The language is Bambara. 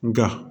Nka